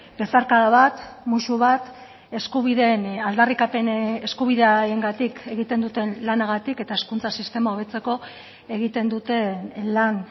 besarkada bat musu bat eskubideen aldarrikapen eskubideengatik egiten duten lanagatik eta hezkuntza sistema hobetzeko egiten duten lan